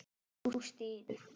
Þú stynur.